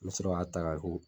N bɛ sɔrɔ k'a ta ka